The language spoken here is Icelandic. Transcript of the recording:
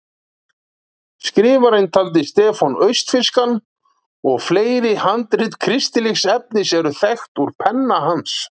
Skrifarann taldi Stefán austfirskan og fleiri handrit kristilegs efnis eru þekkt úr penna hans.